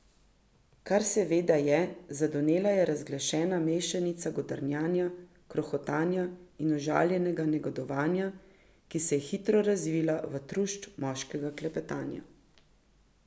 Kar seveda je, zadonela je razglašena mešanica godrnjanja, krohotanja in užaljenega negodovanja, ki se je hitro razvila v trušč moškega klepetanja.